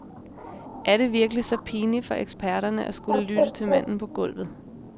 Er det virkelig så pinligt for eksperterne at skulle lytte til manden på gulvet.